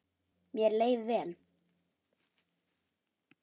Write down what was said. Mér leið vel.